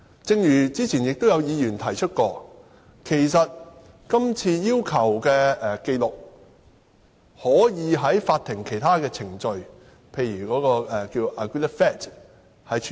正如早前有議員指出，今次要求的紀錄，其實可以按法庭其他程序，例如以 "agreed facts" 的形式處理。